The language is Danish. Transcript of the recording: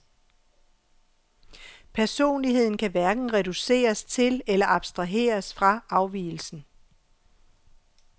Personligheden kan hverken reduceres til eller abstraheres fra afvigelsen.